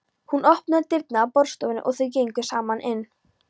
Hún opnaði dyrnar að borðstofunni og þau gengu saman inn.